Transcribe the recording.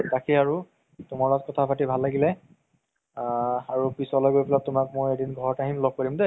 তাকেই আৰু তুমাৰ লগত কথা পাতি ভাল লাগিলে আ আৰু পিছলে গৈ পেলাই তুমাক মই এদিন ঘৰত আহিম ল'গ কৰিম দেই